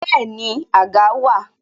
Bẹẹni, àga wà